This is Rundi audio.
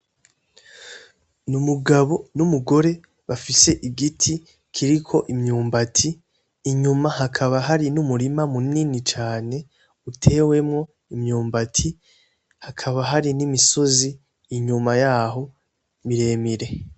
N'umugabo n'umugore bafise igiti kiriko imyumbati , inyuma hakaba hari n'umurima munini cane utewemwo imyumbati hakaba hari n'imisozi inyuma yaho miremire .